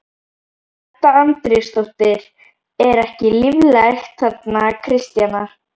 Edda Andrésdóttir: Er ekki líflegt þarna Kristjana?